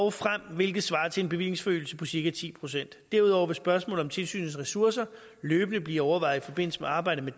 og frem hvilket svarer til en bevillingsforøgelse på cirka ti procent derudover vil spørgsmålet om tilsynets ressourcer løbende blive overvejet i forbindelse med arbejdet